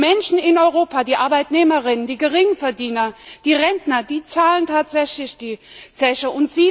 Die Menschen in Europa die Arbeitnehmerinnen, die Geringverdiener, die Rentner zahlen tatsächlich die Zeche.